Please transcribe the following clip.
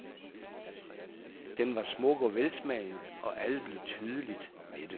Den var smuk og velsmagende, og alle blev tydeligt mætte.